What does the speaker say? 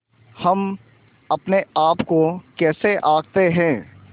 हम अपने आप को कैसे आँकते हैं